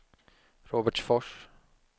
Robertsfors